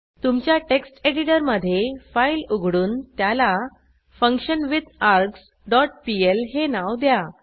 तुमच्या टेक्स्ट एडिटरमधे फाईल उघडून त्याला फंक्शनविथार्ग्स डॉट पीएल हे नाव द्या